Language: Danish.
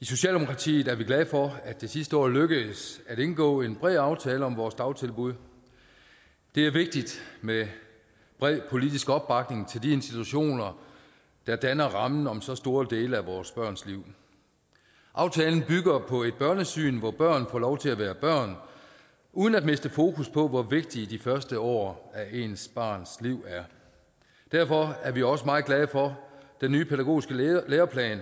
i socialdemokratiet er vi glade for at det sidste år lykkedes at indgå en bred aftale om vores dagtilbud det er vigtigt med bred politisk opbakning til de institutioner der danner rammen om så store dele af vores børns liv aftalen bygger på et børnesyn hvor børn får lov til at være børn uden at miste fokus på hvor vigtige de første år af ens barns liv er derfor er vi også meget glade for den nye pædagogiske læreplan